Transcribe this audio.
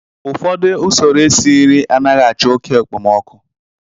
ụfọdụ usoro esi nri anaghị achọ oke okpomọkụ